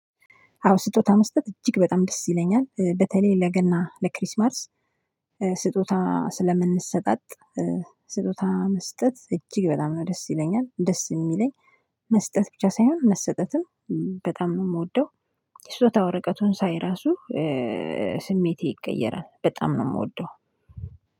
አዎ ስጦታ መስጠት እጅግ በጣም ደስ ይለኛል በተለይ ለገና ለክሪስማርስ ስጦታ ስለምንሰጣጥ ስጦታ መስጠት እጅግ በጣም ነው ደስ ይለኛል ደስ የሚለኝ። መስጠት ብቻ ሳይሆን መስጠትም በጣም ነው የምወደው። ስጦታ ወረቀቱን ሳይ ራሱ። ስሜቴ ይቀየራል በጣም ነው የምወደው።